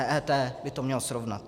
EET by to měla srovnat.